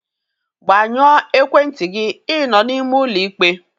Gbanyụọ ekwentị gị, ịnọ n'ime ụlọ ikpe!